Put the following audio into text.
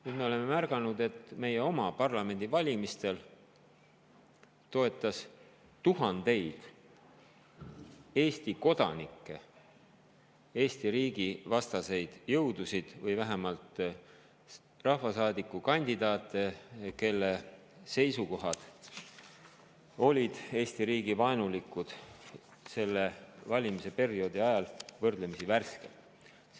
Nüüd oleme märganud, et meie oma parlamendivalimistel toetas tuhandeid Eesti kodanikke Eesti riigi vastaseid jõudusid või vähemalt rahvasaadikukandidaate, kelle seisukohad olid Eesti riigi suhtes vaenulikud selle valimisperioodi ajal ehk võrdlemisi värskelt.